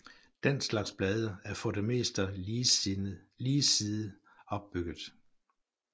Den slags blade er for det meste ligesidet opbygget